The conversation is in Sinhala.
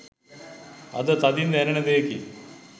අද තදින් දැනෙන දෙයකි.